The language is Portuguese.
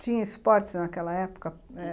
Tinha esportes naquela época?